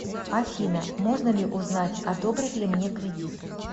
афина можно ли узнать одобрят ли мне кредит